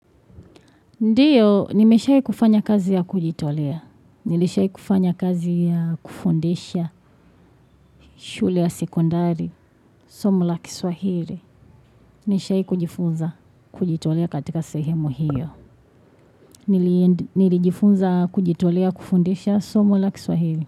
Ndiyo, nimeshai kufanya kazi ya kujitolea. Nilishai kufanya kazi ya kufundisha shule ya sekondari, somo la kiswahiri. Nishai kujifunza kujitolea katika sehemu hiyo. Nilijifunza kujitolea kufondesha somu la kiswahiri.